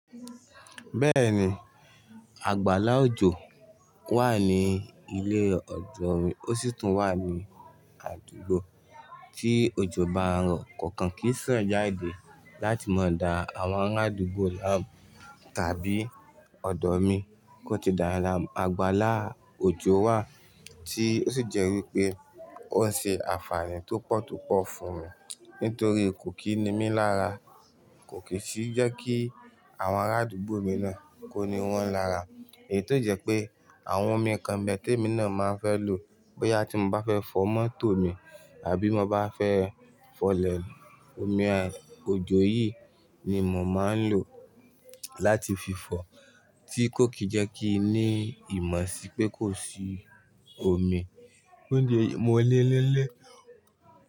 Bẹ́ẹ̀ni, àgbàlá òjò wà ní ilé ọ̀dọ̀ mi, ó sì tún wà ní àdúgbò tí òjò bá ń rọ̀. Kọ̀ọ̀kan kì í sàn jáde láti má da àwọn ará àdúgbò laamu tàbí ọ̀dọ̀ mi kó ti dáyan lamu. Àgbàlá òjò wà tí ó sì jẹ́ wípé ó ṣe ànfààní tó pọ̀ tó pọ̀ fún mi nítorí kò kíni mí lára, kò kì í sì jẹ́ kí àwọn ará àdúgbò mi náà kó ni wọ́n lára. Èyí tó jẹ́ pé àwọn omi kan be tẹ̀ẹ̀mi náà máa ń fẹ́ lò bóyá tí mo bá fẹ́ fọ mọ́tò mi àbí mo bá fẹ́ fọlẹ̀. Omi òjò yìí ni mò ń máa ń lò láti fi fọ tí kò kì í jẹ́ kí i ní ìmọ̀ sí pé kò sí omi tó le mu ọ́ lélẹ́.